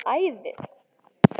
Bara æði.